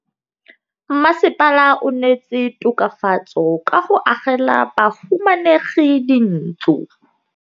Mmasepala o neetse tokafatsô ka go agela bahumanegi dintlo.